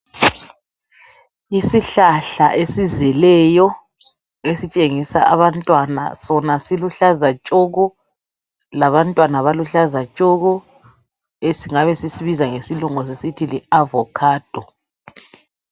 Isihlahla esizeleyo esitshengisa abantwana sona siluhlaza tshoko labantwana baluhlaza tshoko esingabe sisibiza ngesilungu sisithi yiAvocado.